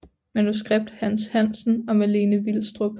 Manuskript Hans Hansen og Malene Vilstrup